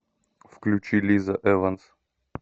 включи лиза эванс